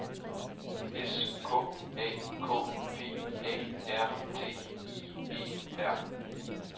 S K A K P A R T I E R